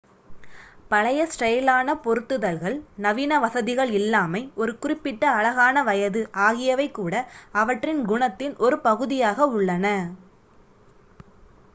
பழைய ஸ்டைலான பொருத்துதல்கள் நவீன வசதிகள் இல்லாமை ஒரு குறிப்பிட்ட அழகான வயது ஆகியவை கூட அவற்றின் குணத்தின் ஒரு பகுதியாக உள்ளன